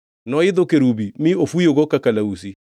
Noidho kerubi mi ofuyogo ka kalausi.